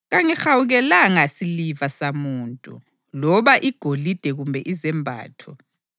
Kangihawukelanga siliva samuntu, loba igolide kumbe izembatho.